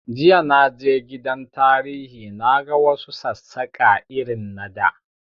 Jiya na je gidan tarihi na ga wa su Sassaƙa irin na da